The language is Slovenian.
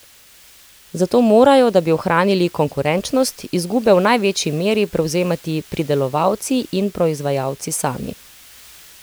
Zato morajo, da bi ohranili konkurenčnost, izgube v največji meri prevzemati pridelovalci in proizvajalci sami.